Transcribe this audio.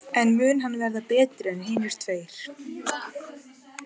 En mun hann verða betri en hinir tveir?